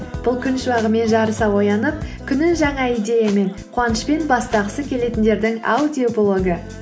бұл күн шуағымен жарыса оянып күнін жаңа идеямен қуанышпен бастағысы келетіндердің аудиоблогы